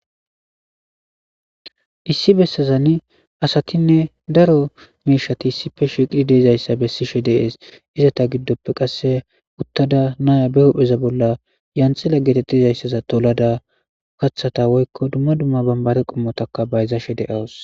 issi bessazani asatinne daro miishati issipfe shiqri deezayssa bessishe dees izata giddoppe qasse uttada naya be hohpheza bolla yanxila geetettizayssaza tolada kaththata woykko dumma dumma bambare qommotaka bayzashe de7awus